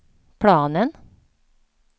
planen